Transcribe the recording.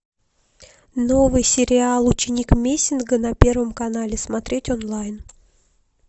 новый сериал ученик мессинга на первом канале смотреть онлайн